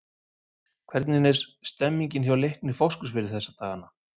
Hvernig er stemningin hjá Leikni Fáskrúðsfirði þessa dagana?